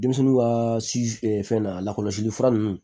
Denmisɛnninw ka fɛn na lakɔlɔsili fura ninnu